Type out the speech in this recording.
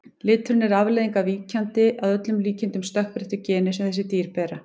Liturinn er afleiðing af víkjandi, að öllum líkindum stökkbreyttu, geni sem þessi dýr bera.